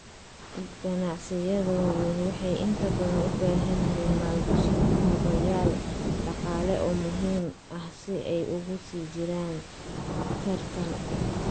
Ganacsiyada waaweyn waxay inta badan u baahan yihiin maalgashi kaabayaal dhaqaale oo muhiim ah si ay ugu sii jiraan tartan.